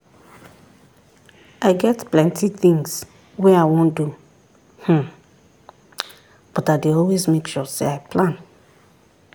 i get plenty things wey i wan do hmmm but i dey always make sure say i plan